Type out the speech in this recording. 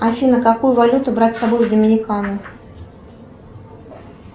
афина какую валюту брать с собой в доминикану